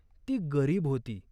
ती गरीब होती.